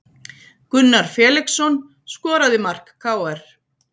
Gunnar Felixson skoraði mark KR